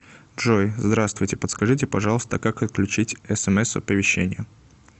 джой здравствуйте подскажите пожалуйста как отключить смс оповещения